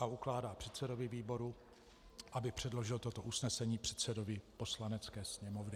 III. ukládá předsedovi výboru, aby předložil toto usnesení předsedovi Poslanecké sněmovny.